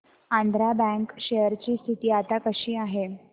Andhra bank share ची स्थिती आता कशी आहे